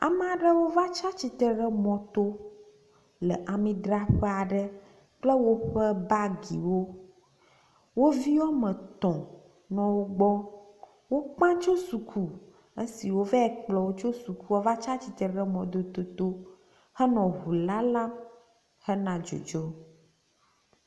Amea ɖewo va tsi atsitre ɖe mɔto le amidraƒea ɖe kple woƒe bagiwo. Wo vi woame etɔ̃ nɔ wo gbɔ. Wokpã tso suku esi wovee kplɔ wo tso suku va tsi atsitre ɖe mɔdodoto henɔ ŋu lalam hena dzodzo.